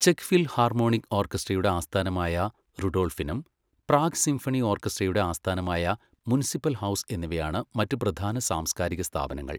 Check philharmonic ഓർക്കസ്ട്രയുടെ ആസ്ഥാനമായ Rudolfinum, Prague symphony ഓർക്കസ്ട്രയുടെ ആസ്ഥാനമായ മുനിസിപ്പൽ ഹൗസ് എന്നിവയാണ് മറ്റ് പ്രധാന സാംസ്കാരിക സ്ഥാപനങ്ങൾ.